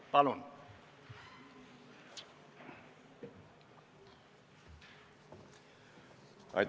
Palun!